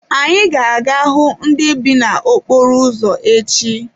Anyị ga-aga hụ ndị bi n’okporo ụzọ echi.